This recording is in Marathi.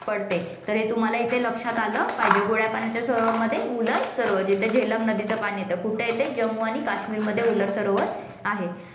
पडते. तर हे तुम्हाला इथे लक्षात आलं पाहिजे, गोड्यापाण्याच्या सरोवरमध्ये उलर सरोवर जिथे झेलम नदीचं पाणी येतं, कुठे आहे, ते जम्मू आणि काश्मीरमध्ये उलर सरोवर आहे